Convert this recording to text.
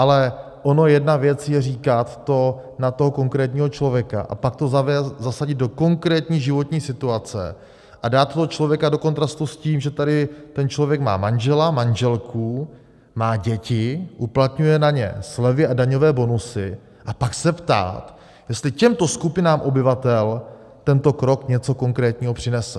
Ale ono jedna věc je říkat to na toho konkrétního člověka, a pak to zasadit do konkrétní životní situace a dát toho člověka do kontrastu s tím, že tady ten člověk má manžela, manželku, má děti, uplatňuje na ně slevy a daňové bonusy, a pak se ptát, jestli těmto skupinám obyvatel tento krok něco konkrétního přinese.